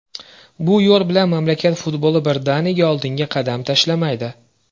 Bu yo‘l bilan mamlakat futboli birdaniga oldinga qadam tashlamaydi.